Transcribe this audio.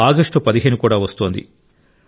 August 15 కూడా వస్తోంది